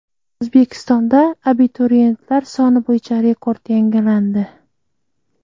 O‘zbekistonda abituriyentlar soni bo‘yicha rekord yangilandi.